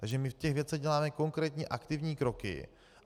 Takže my v těch věcech děláme konkrétní aktivní kroky.